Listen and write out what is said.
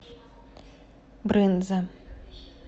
брынза